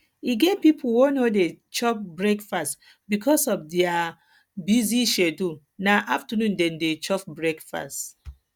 e get pipo wey no dey chop breakfast because of their because of their busy schedule na afternoon dem dey chop breakfast